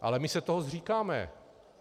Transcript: Ale my se toho zříkáme.